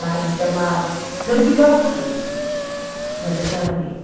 Lá eles chamavam, verificavam tudo, nos deixavam ir.